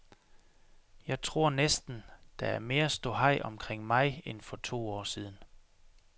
Jeg tror næsten, der er mere ståhej omkring mig end for to år siden.